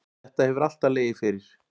Þetta hefur alltaf legið fyrir.